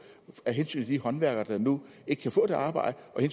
af hensyn til de håndværkere der nu ikke kan få det arbejde og